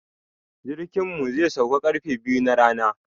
Jirkin mu zai sauka ƙarfe biyu na rana.